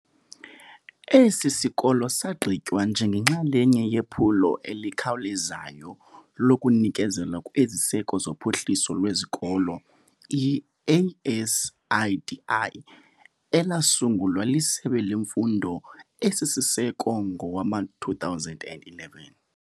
Esi sikolo sagqitywa njengenxalenye yePhulo eliKhawulezayo lokuNikezelwa kweZiseko zophuhliso lweZikolo, i-ASIDI, elasungulwa liSebe leMfundo esiSiseko ngowama-2011.